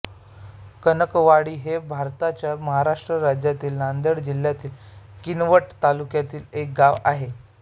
कनकवाडी हे भारताच्या महाराष्ट्र राज्यातील नांदेड जिल्ह्यातील किनवट तालुक्यातील एक गाव आहे